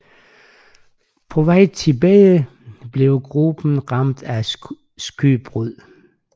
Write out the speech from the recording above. På vejen tilbage blev gruppen ramt af skørbug